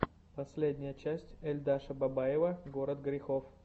последняя часть эльшада бабаева город грехов